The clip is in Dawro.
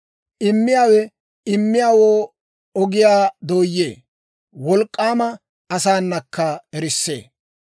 Immiyaawe immiyaawoo ogiyaa dooyee; wolk'k'aama asaanakka erissee.